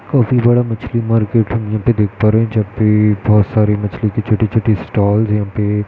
काफी बड़ा मछली मार्केट है | यह पर देख पा रहे हैं | बहोत सारे मछली के छोटे छोटे स्टाल है । यहाँ पे --